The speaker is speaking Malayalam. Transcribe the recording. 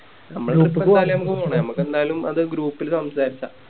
ഞമ്മക്കെന്താലും അത് Group ല് സംസാരിച്ച